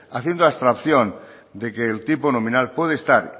haciendo abstracción de que el tipo nominal puede estar